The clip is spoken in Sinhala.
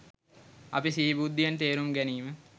අපි සිහි බුද්ධියෙන් තේරුම් ගැනීම